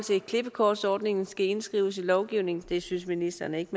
klippekortsordningen skal indskrives i lovgivningen det synes ministeren ikke